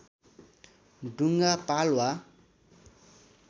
डुङ्गा पाल वा